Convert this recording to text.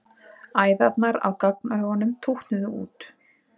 Æðarnar á gagnaugunum tútnuðu út.